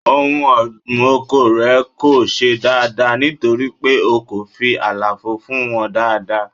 Ohun ọ̀gbìn oko rẹ kò ṣe dáadáa nítorí pé o kò fi àlàfo fún wọn dáadáa.